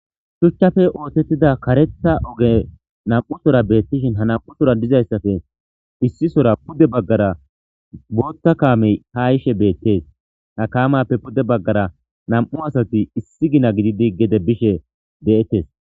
Shuchchafe oothettida karetha oge nam'usora beettishin ha nam'usora dizayssafe issisora pude baggara bootha kaamey ha yishe beetes ha kaamappe pude baggara nam'u asati issi gina gididi gede bishe de'etes.